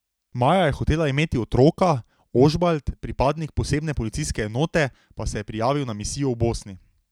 Maja je hotela imeti otroka, Ožbalt, pripadnik posebne policijske enote, pa se je prijavil za misijo v Bosni.